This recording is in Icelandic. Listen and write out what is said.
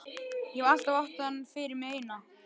Ég hef alltaf átt hann fyrir mig eina.